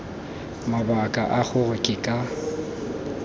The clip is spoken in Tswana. mabaka a gore ke ka